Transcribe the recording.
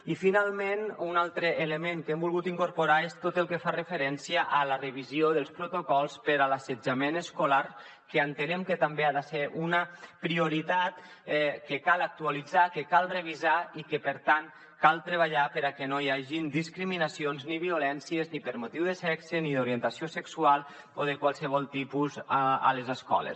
i finalment un altre element que hem volgut incorporar és tot el que fa referència a la revisió dels protocols per a l’assetjament escolar que entenem que també ha de ser una prioritat que cal actualitzar que cal revisar i que per tant cal treballar perquè no hi hagin discriminacions ni violències ni per motiu de sexe ni d’orientació sexual o de qualsevol tipus a les escoles